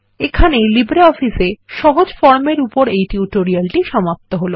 এখানেই LibreOffice এ সহজ ফরম এর উপর এই টিউটোরিয়ালটি সমাপ্ত হল